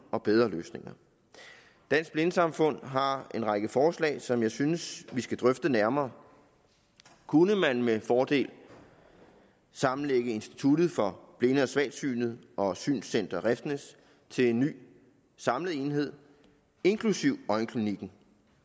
og bedre løsninger dansk blindesamfund har en række forslag som jeg synes vi skal drøfte nærmere kunne man med fordel sammenlægge instituttet for blinde og svagsynede og synscenter refsnæs til en ny samlet enhed inklusive øjenklinikken